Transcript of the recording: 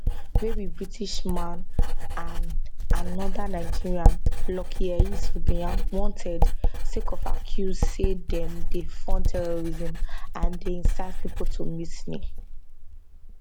wey be british man and anoda nigerian lucky ehis obiyan wanted sake of accuse say dem dey fund terrorism and dey incite pipo to mutiny